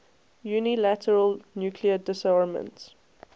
unilateral nuclear disarmament